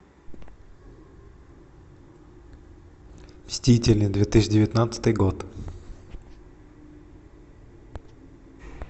мстители две тысячи девятнадцатый год